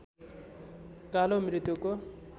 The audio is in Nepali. कालो मृत्युको